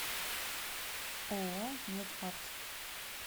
ооо мед арт